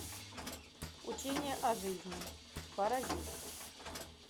учение о жизни паразит